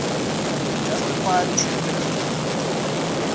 justified true belief